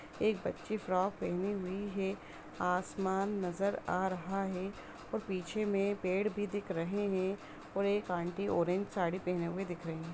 एक बच्ची फ्रॉक पहनी हुई है आसमान नजर आ रहा है और पीछे में पेड़ भी दिख रहे हैं और एक आंटी ऑरेंज साड़ी पहने हुए दिख रही है।